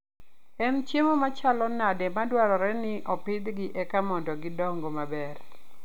En chiemo machalo nade madwarore ni opidhgi eka mondo gidong maber?